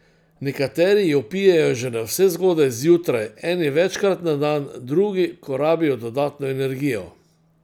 Nekateri jo pijejo že navsezgodaj zjutraj, eni večkrat na dan, drugi, ko rabijo dodatno energijo.